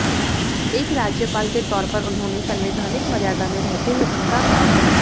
एक राज्यपाल के तौर पर उन्होंने संवैधानिक मर्यादा में रहते हुए उम्दा काम किया